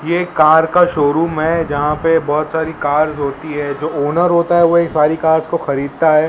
ये एक कार का शोरूम है जहां पे बहुत सारी कार्स होती है जो ओनर होता है वो ये सारी कार्स को खरीदता है।